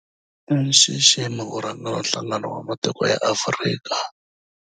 I nxiximo ku rhangela Nhlangano wa Matiko ya Afrika, AU.